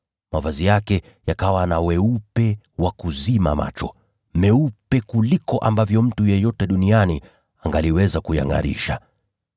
Mavazi yake yakawa na weupe wa kuzima macho, meupe kuliko ambavyo mtu yeyote duniani angaliweza kuyangʼarisha.